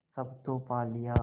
सब तो पा लिया